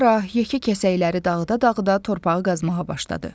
Qara, yekə kəsəkləri dağıda-dağıda torpağı qazmağa başladı.